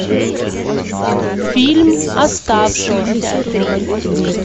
фильм оставшийся